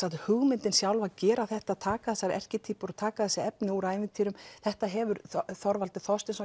hugmyndin sjálf að gera þetta taka þessar erkitýpur og taka þessi efni úr ævintýrum þetta hefur Þorvaldur Þorsteinsson